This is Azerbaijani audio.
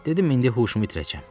Dedim indi huşumu itirəcəm.